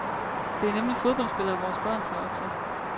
Det er nemlig fodboldspillere, vores børn ser op til.